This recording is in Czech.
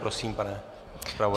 Prosím, pane zpravodaji.